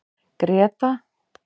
Greta